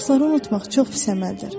Dostları unutmaq çox pis əməldir.